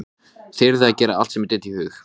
Svo spýtti hann við tönn og settist á fletið.